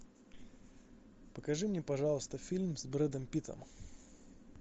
покажи мне пожалуйста фильм с брэдом питтом